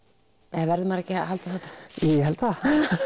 eða verður maður ekki að halda það ég held það